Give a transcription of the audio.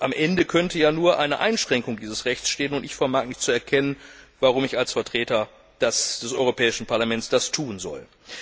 Am Ende könnte ja nur eine Einschränkung dieses Rechts stehen. Ich vermag nicht zu erkennen, warum ich als Vertreter des Europäischen Parlaments das tun sollte.